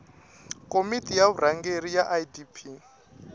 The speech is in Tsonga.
komiti ya vurhangeri ya idp